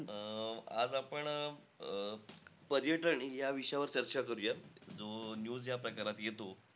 अं आज आपण अं पर्यटन या विषयावर चर्चा करूया, जो news ह्या प्रकारात येतो.